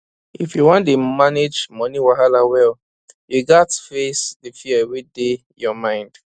if you wan dey manage money wahala well you gats face di fear wey dey your mind